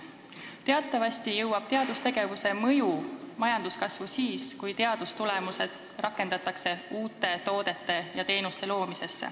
Teatavasti hakkab teadustegevus majanduskasvu mõjutama siis, kui teadustulemusi rakendatakse uute toodete ja teenuste loomisel.